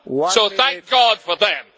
So thank God for them.